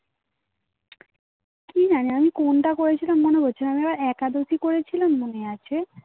কি জানি আমি কোনটা করেছিলাম মনে করছিলাম আমি আবার একাদশী করেছিলাম মনে আছে